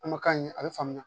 An ma k'a ye a bɛ faamuya